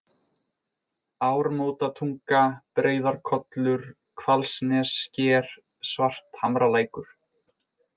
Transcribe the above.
Ármótatunga, Breiðarkollur, Hvalnessker, Svarthamralækur